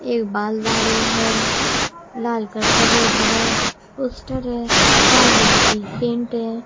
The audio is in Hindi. एक बाल है। लाल कलर का बहोत बड़ा पोस्टर है लाल कलर कि पेंट हैं।